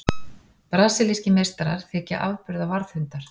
Brasilískir meistarar þykja afburða varðhundar.